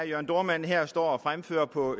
jørn dohrmann her står og fremfører på